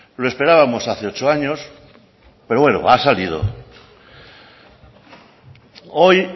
lo esperábamos hace ocho años pero bueno ha salido hoy